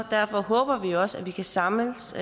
derfor håber vi også at vi kan samles